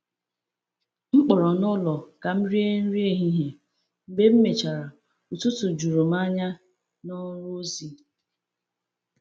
M kpọrọ n’ụlọ ka m rie nri ehihie, mgbe m mechara ụtụtụ juru m anya n’ọrụ ozi.